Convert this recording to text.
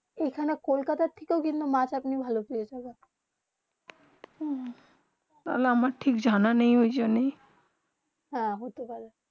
এখানে কলকাতা থেকে আপনি মাছ আপনি ভালো পেয়ে জাবেন আমার ঠিক জানা নয় এই জন্যে হেঁ হতে পারে